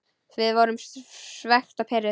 Við vorum svekkt og pirruð.